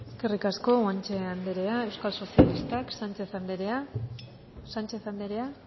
eskerrik asko guanche anderea euskal sozialistak sánchez anderea